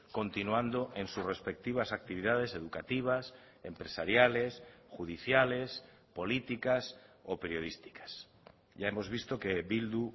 continuando en sus respectivas actividades educativas empresariales judiciales políticas o periodísticas ya hemos visto que bildu